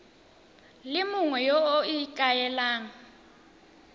le mongwe yo o ikaelelang